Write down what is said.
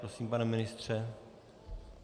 Prosím, pane ministře.